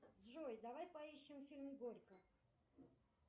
джой давай поищем фильм горько